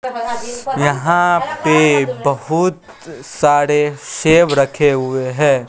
यहां पे बहुत सारे सेब रखे हुए है।